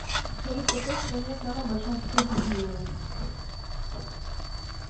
салют в какой стране самая большая численность населения